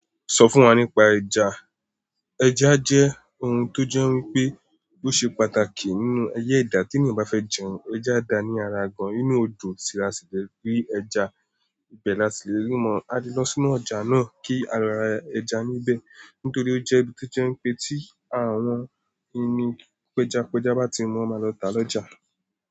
Sọ fún wa nípa ẹja. Ẹja jẹ́ ohun tó jẹ́ wípé ó ṣe pàtàkì nínú ayé ẹ̀dá tí ènìyàn bá fẹ́ jẹun. Ẹja dá ní ara gan-an nínú odò, sì la si le gbé ẹja. Ibẹ̀ la tí lè rí wọn. A le lọ sínú ọjà náà kí a rà ẹja níbẹ̀ nítorí ó jẹ́ ibi tó jẹ́ wípé tí àwọn ẹni péjapájá bá ti mu, won máa lọ tá lọ́jà.